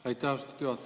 Aitäh, austatud juhataja!